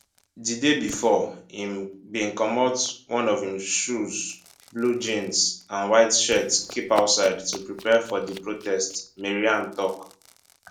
di day bifor im bin comot one of im shoes blue jeans and white shirt keep outside to prepare for di protest maryam tok